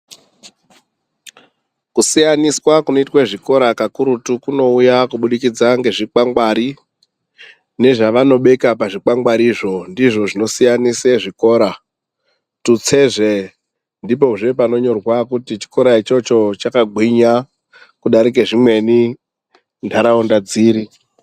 Kusiyaniswa kunoitwe zvikora kakurutu kunouya kubudikadza ngezvikwangwari nezvavanobeka pazvikwangwarizvo ndizvo zvinosiyanise zvikora tutsezve ndipo zvepanonyorwa kuti chikora ichocho chakagwinya kudarike zvimweni munharaunda dziri.